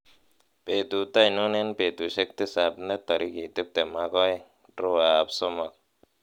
betut ainon en betusiek tisab netorigit tiptem ak oeng drawer ab somok